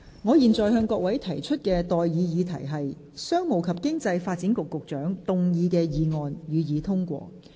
我現在向各位提出的待議議題是：商務及經濟發展局局長動議的議案，予以通過。